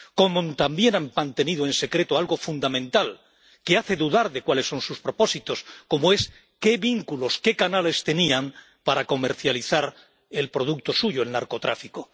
Como también han mantenido en secreto algo fundamental, que hace dudar de cuáles son sus propósitos, como es qué vínculos, qué canales tenían para comercializar el producto suyo, el narcotráfico.